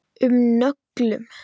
um nöglum.